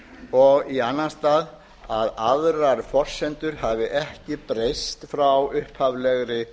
og í annan stað að aðrar forsendur hafi ekki breyst frá upphaflegri